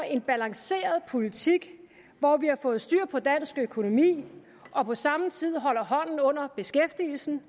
en balanceret politik hvor vi har fået styr på dansk økonomi og på samme tid holder hånden under beskæftigelsen